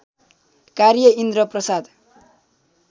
कार्य इन्द्र प्रसाद